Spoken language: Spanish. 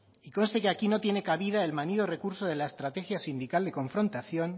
y conste que aquí no tiene cabida el manido recurso de la estrategia sindical y confrontación